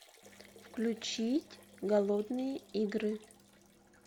включить голодные игры